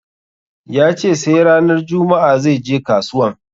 Yace sai ranar juma'a zai je kasuwan